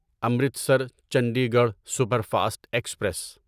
Amritsar Chandigarh super fast express